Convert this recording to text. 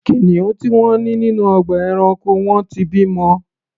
Kìnìún tí wọ́n ní nínú ọgbà ẹranko wọn ti bimọ.